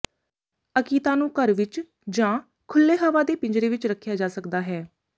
ਅਕੀਤਾ ਨੂੰ ਘਰ ਵਿਚ ਜਾਂ ਖੁੱਲ੍ਹੇ ਹਵਾ ਦੇ ਪਿੰਜਰੇ ਵਿਚ ਰੱਖਿਆ ਜਾ ਸਕਦਾ ਹੈ